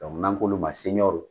Dɔnku n'an k'olu ma ko .